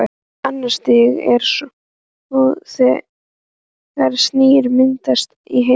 Annað stigið er svo þegar sýra myndast í henni.